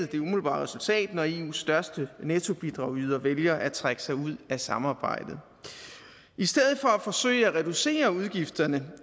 det umiddelbare resultat når eus største nettobidragyder vælger at trække sig ud af samarbejdet i stedet for at forsøge at reducere udgifterne